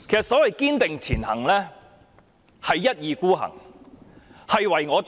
所謂"堅定前行"，其實是一意孤行、唯我獨專。